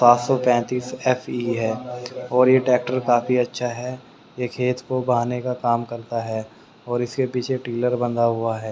पांच सौ पैंतीस फ_ई और ये ट्रैक्टर काफी अच्छा है ये खेत को बहने का काम करता है और इसके पीछे टिलर बंधा हुआ है।